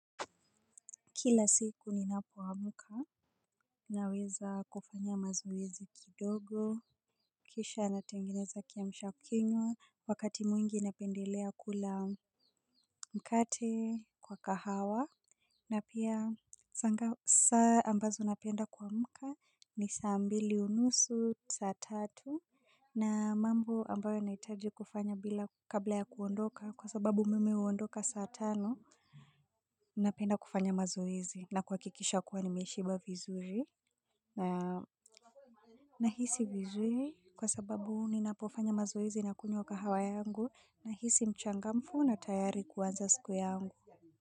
Kila siku ninapoamka naweza kufanya mazoezi kidogo kisha natengeneza kiamshakinywa wakati mwingi inependelea kula mkate kwa kahawa na pia saa ambazo napenda kuamuka ni saa mbili unusu saa tatu na mambo ambayo nahitaji kufanya kabla ya kuondoka kwa sababu mimi uondoka saa tano napenda kufanya mazoezi na kuhakikisha kuwa nimeshiba vizuri na nahisi vizuri kwa sababu ninapofanya mazoezi na kunywa kahawa yangu nahisi mchangamfu na tayari kuanza siku yangu.